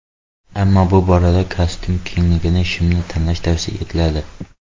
Ammo bu borada kostyum kengligidagi shimni tanlash tavsiya etiladi.